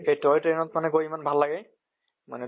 এই toy train ত মানে গৈ ইমান ভাল লাগে মানে